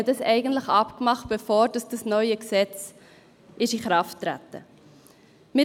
Man hatte dies also abgemacht, bevor dieses neue Gesetz in Kraft getreten war.